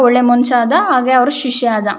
ಒಳ್ಳೆ ಮನುಷ್ಯ ಆದ ಹಾಗೆ ಅವರ ಶಿಷ್ಯ ಆದ.